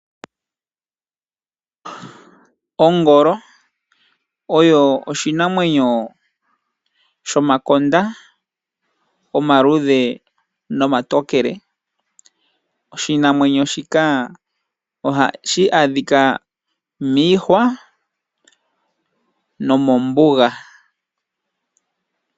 Ongolo oyo oshinamwenyo shomakonda omaluudhe nomatokele . Oshinamwenyo shika oha shi adhika miihwa nomombuga.